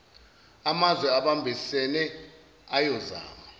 amazwe abambisene ayozama